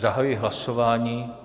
Zahajuji hlasování.